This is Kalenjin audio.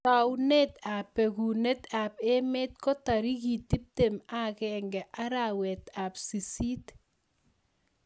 Taunet ap bekuneet ap emeet ko tarikit tiptem ak agenge arawet ap sisist